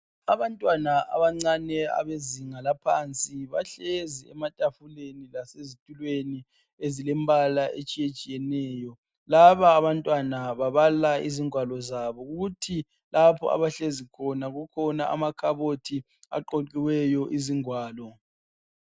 Abantwana abancane abezinga laphansi bahlezi ematafuleni lasezitulweni ezilembala etshiyetshiyeneyo. Laba abantwana babhala izingwalo zabo kuthi lapho abahlezi khona kukhona amakhabothi aqoqiweyo izingwalo.